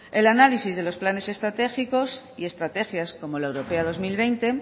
el análisis de los planes estratégicos y estrategias como la europea dos mil veinte